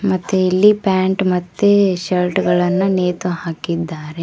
ಮತ್ತೆ ಇಲ್ಲಿ ಪ್ಯಾಂಟ್ ಮತ್ತೆ ಶರ್ಟ್ ಗಳನ್ನ ನೇತು ಹಾಕಿದ್ದಾರೆ.